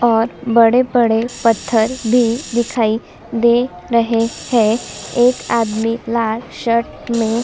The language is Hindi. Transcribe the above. और बड़े-बड़े पत्थर भी दिखाई दे रहे है एक आदमी लाल शर्ट में --